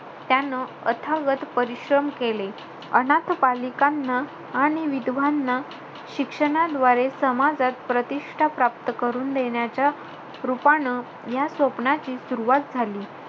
त्यानं अथागत परिश्रम केले. अनाथ बालिकांना आणि विधवांना शिक्षणाद्वारे समाजात प्रतिष्ठा प्राप्त करून देण्याच्या रूपानं, या स्वप्नाची सुरवात झाली.